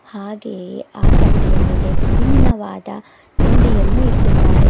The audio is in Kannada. ಹಾಗೆಯೆ ಆ ತಟ್ಟೆಯ ಮೇಲೆ ವಿಭಿನ್ನವಾದ ತಿಂಡಿಯನ್ನು ಇಟ್ಟಿದ್ದಾರೆ.